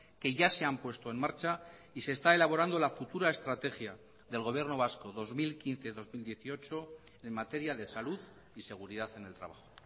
que ya se han puesto en marcha y se está elaborando la futura estrategia del gobierno vasco dos mil quince dos mil dieciocho en materia de salud y seguridad en el trabajo